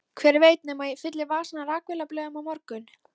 Hver veit nema ég fylli vasana af rakvélablöðum á morgun.